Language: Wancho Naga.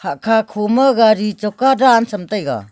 akha kho ma gari choka dan tham taega.